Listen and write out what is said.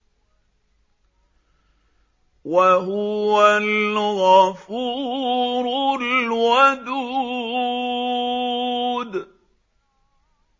وَهُوَ الْغَفُورُ الْوَدُودُ